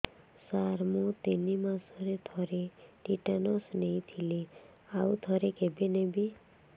ସାର ମୁଁ ତିନି ମାସରେ ଥରେ ଟିଟାନସ ନେଇଥିଲି ଆଉ ଥରେ କେବେ ନେବି